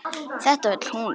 Þetta vill hún.